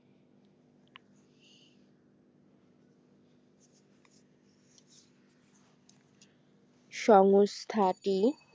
সংস্থাটি